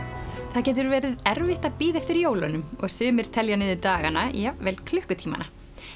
það getur verið erfitt að bíða eftir jólunum og sumir telja niður dagana jafnvel klukkutímana